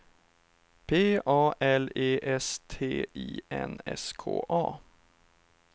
P A L E S T I N S K A